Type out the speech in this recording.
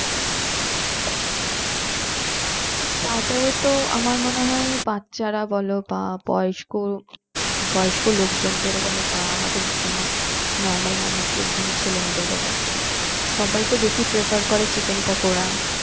starter এ তো আমার মনে হয় বাচ্চারা বলো বা বয়স্ক লোকজনদেরও বলো বা আমাদের মতনও normal মানুষদের ছেলে মেয়েদের বলো সবাই তো বেশি prefer করে chicken পকোড়া